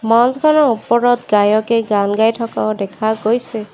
মঞ্চখনৰ ওপৰত গায়কে গান গায় থকাও দেখা গৈছে।